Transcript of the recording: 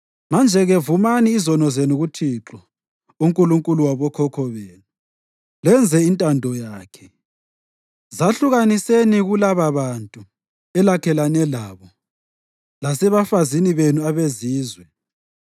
Manje-ke vumani izono zenu kuThixo, uNkulunkulu wabokhokho benu, lenze intando yakhe. Zahlukaniseni kulababantu elakhelene labo lasebafazini benu abezizwe.”